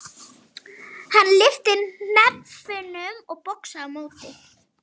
Hann lyfti hnefunum og boxaði á móti.